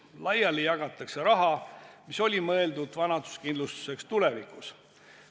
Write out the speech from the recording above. Laiali jagatakse raha, mis oli mõeldud vanaduskindlustuseks tulevikus.